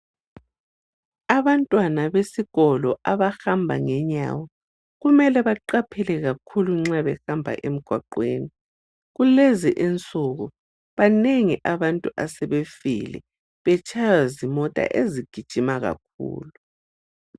Abantwana besikolo abahamba ngenyawo kumele baqaphele. kakhulu nxa behamba emgwaqweni, kulezi insuku banengi abantu asebefile betshaywa zimota ezigijima kakhulu.